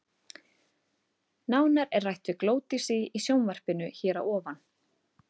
Nánar er rætt við Glódísi í sjónvarpinu hér að ofan.